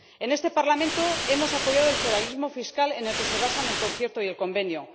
En este Parlamento hemos apoyado el federalismo fiscal en el que se basan el Concierto y el Convenio.